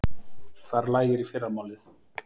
Þar lægir í fyrramálið